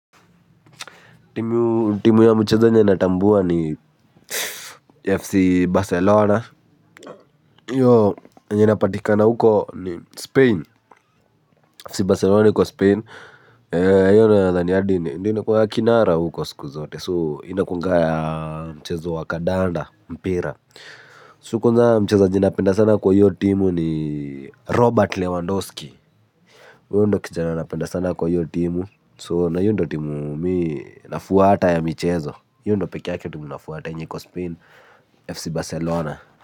Timu ya mchezo yenye natambua ni FC Barcelona, enye inapatikana huko ni Spain, FC Barcelona iko Spain, io nadhani yadine, indine kwa ya kinara huko siku zote, so ina kunga ya mchezo wa Kadanda, Mpira. Sokwanza mcheza jina penda sana kwa iyo timu ni Robert Lewandowski. Uyo ndio kijana napenda sana kwa hiyo timu, so na hiyo ndio timu mi nafuwata ya michezo, hiyo ndo pekeyake timu nafuwata enye ikospain FC Barcelona.